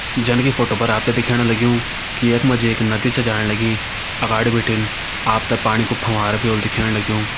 जन की फोटो पर आप तें दिखेण लग्युं कि यख मा जी एक नदी छ जाण लगीं अगाड़ी बिटिन आप तें पाणी कु फवारा भी होलु दिखेण लग्युं।